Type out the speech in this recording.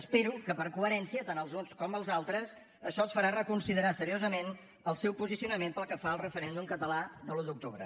espero que per coherència tant als uns com als altres això els farà reconsiderar seriosament el seu posicionament pel que fa al referèndum català de l’un d’octubre